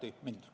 Aitäh!